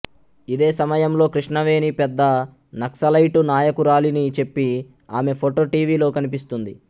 ఇదే సమయంలో కృష్ణవేణి పెద్ద నక్సలైట్ నాయకురాలిని చెప్పి ఆమె ఫోటో టీవీలో కనిపిస్తుంది